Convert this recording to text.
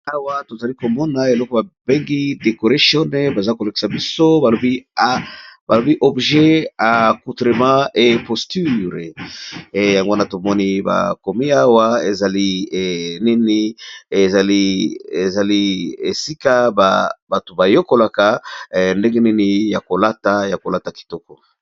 Awa tozali komona eloko babengi decoration baza kolekisa biso balobi objet a coutremat e posture yangwna tomoni ba komi awa zaliiezali esika bato bayokolaka ndenge nini ya kolata ya kolata kitoko.